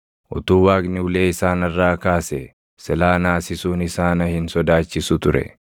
utuu Waaqni ulee isaa narraa kaasee silaa naasisuun isaa na hin sodaachisu ture.